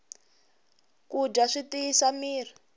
ku dya swi tiyisa mirhi